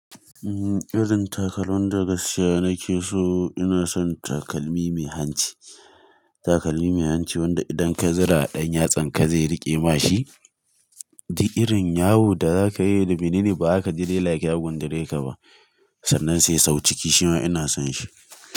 Irin takalman da na siya nake so. Ina son takalmi mai hanci, takalmi mai hanci wanda idan ka zira a ɗan yatsan ka zai riƙe ma shi. Da irin yawu da za ka yi da binini ba za ka ji like ya gundure ka ba. Sannan sai sau ciki shi ma ina son shi.